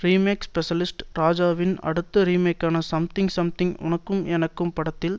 remake specialist ராஜாவின் அடுத்த ரீமேக்கான சம்திங் சம்திங் உனக்கும் எனக்கும் படத்தில்